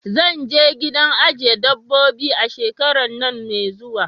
Zanje gidan ajiye dabbobi a shekaran nan mai zuwa